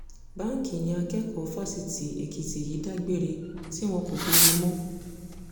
báńkì ni akẹ́kọ̀ọ́ fásitì èkìtì yìí dágbére tí wọn kò fi rí i mọ́